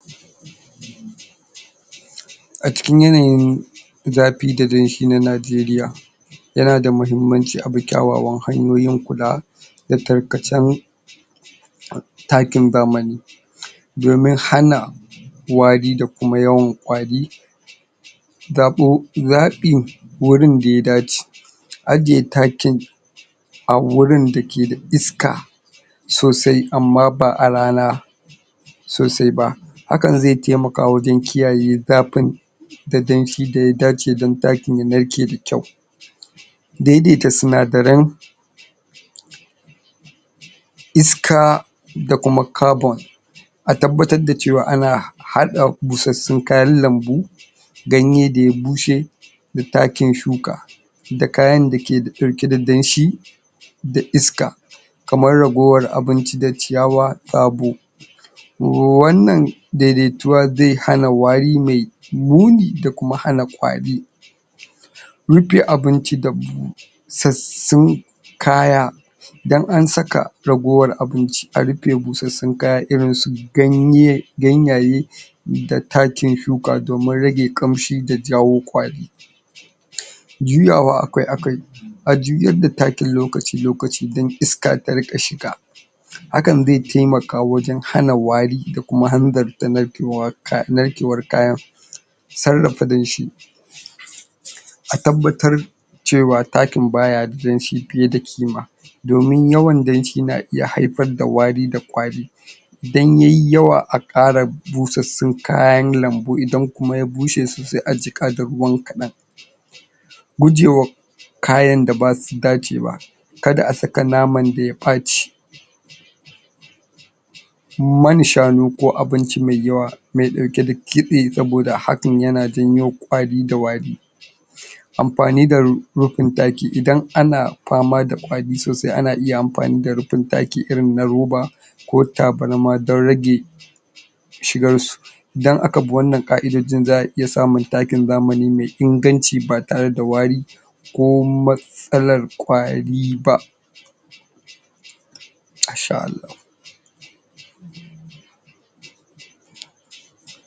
A cikin yanayin zafi da danshi na Najeriya yana da mahimmanci a bi kyawawan hanyoyin kula da tarkacen takin zamani domin hana wari da kuma yawan ƙwari zaɓo zaɓi wurin da ya dace ajiye takin a gurin dake da iska sosai amma ba a rana sosai ba hakan zai taimaka wajen kiyaye zafin da danshi da ya dace don takin ya narke da kyau daidaita sinadaran iska da kuma carbon a tabbatar cewa ana haɗa busassun kayan lambu ganye da ya bushe da takin shuka da kayan dake da riƙe da danshi da iska kamar ragowar abinci da ciyawa sabo to wannan daidaituwa zai hana wari mai muni da kuma hana ƙwari rufe abinci da isassun kaya idan an saka ragowar abinci a rufe busassun kaya irin su ganye ganyaye da takin shuka domin rage ƙamshi da jawo ƙwari juyawa akai-akai a juyar da takin lokaci-lokaci don iska ta rinƙa shiga hakan zai taimaka wajen hana wari da kuma hanzarta da narkewar kayan narkewar kayan sarrafa danshi a tabbatar cewa takin ba ya da danshi fiye da ƙima domin yawan danshi na iya haifar da wari da ƙwari idan ya yi yawa a ƙara busassun kayan lambu idan kuma ya bushe sosai a jiƙa da ruwan kadan gujewa kayan da ba su dace ba ka da a saka naman da ya ɓaci man shanu ko abinci mai yawa mai ɗauke da kitse saboda hakan yana janyo ƙwari da wari amfani da rufin taki idan ana fama da ƙwari sosai ana iya mafani da rufin taki ɗaki irin na roba ko tabarma don rage shigar su idan aka bi wannan ƙa'idojin za a iya samun takin zamani mai inganci ba tare da wari ko matsalar ƙwari ba Masha Allahu.